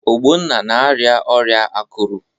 Ogbonna na-arịa ọrịa akụrụ.